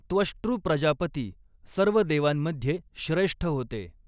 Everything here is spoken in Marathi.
त्वष्ट्रू प्रजापती सर्व देवांमधे श्रेष्ठ होते.